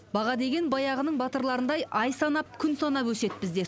баға деген баяғының батырларындай ай санап күн санап өседі бізде